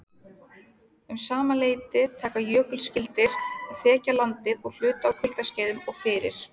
Um sama leyti taka jökulskildir að þekja landið að hluta á kuldaskeiðum og fyrir